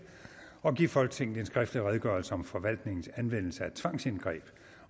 at give folketinget en skriftlig redegørelse om forvaltningens anvendelse af tvangsindgreb